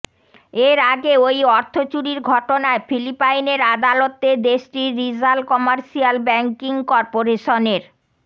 এর আগে ওই অর্থ চুরির ঘটনায় ফিলিপাইনের আদালতে দেশটির রিজাল কমার্শিয়াল ব্যাংকিং করপোরেশনের